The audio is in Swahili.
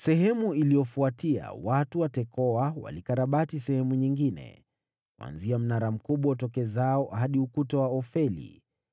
Baada yao, watu wa Tekoa walikarabati sehemu nyingine, kuanzia mnara mkubwa utokezao hadi ukuta wa Ofeli.